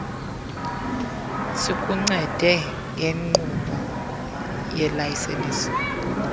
sikuncede ngenkqubo yelayisensi